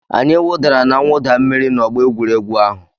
Anyị wụdara na mwụda mmiri n'ọgbọ egwuregwu ahụ.